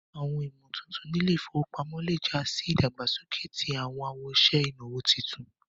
Awọn ìmọ̀tuntun ní ilẹ̀-ifowópamọ̀ lẹ́ já sì ìdágbásọ̀kẹ̀ tí awọn awọṣẹ̀ inawo títùn.